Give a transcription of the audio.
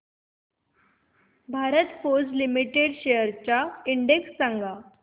Bharat Forge Limited shares चा index सांगा